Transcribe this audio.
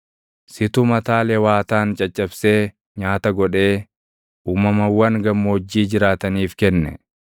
Situ mataa Lewaataan caccabsee nyaata godhee uumamawwan gammoojjii jiraataniif kenne.